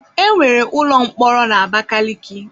Enwere ụlọ mkpọrọ na Abakaliki.